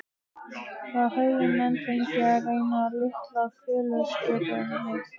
Það höfðu menn fengið að reyna á litla kolaskipinu